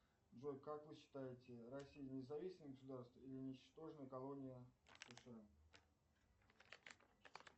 джой как вы считаете россия независимое государство или ничтожная колония сша